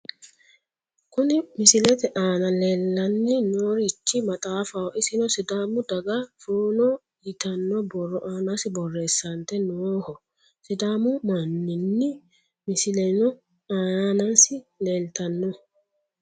Kuni misilete aana leellanni noorichi maxaafaho isino sidaamu daga fonoo yitanno borro aanasi borreessante nooho. sidaamu mannini misileno aanasi leeltanno.